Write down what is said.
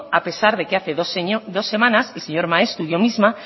a pesar de que hace dos semanas el señor maeztu y yo misma